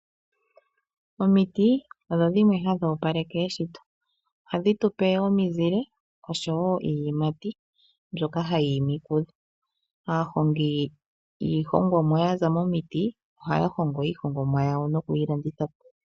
Omiti odho dhimwe hadhi opaleke eshito, ohadhi tupe omizile oshowo iiyimati mbyoka hayi imi kudho. Aahongi yiihongomwa ya za momiti ohaya hongo iihongomwa yawo nokuyi landitha po.